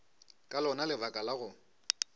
ka lona lebaka la go